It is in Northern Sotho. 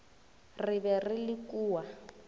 re be re le kua